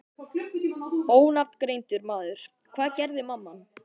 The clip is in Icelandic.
Ónafngreindur maður: Hvað gerði mamman?